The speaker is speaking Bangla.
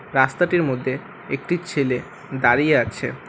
রাস্তাটির মধ্যে একটি ছেলে দাঁড়িয়ে আছে।